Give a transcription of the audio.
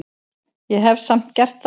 Ég hef samt gert það.